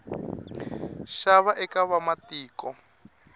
nxava eka vamatiko